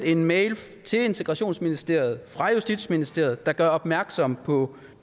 en mail til integrationsministeriet fra justitsministeriet der gør opmærksom på